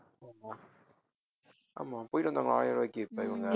ஆமா ஆமா போயிட்டு வந்தாங்களா ஆயிரம் ரூபாய்க்கு இப்ப இவங்க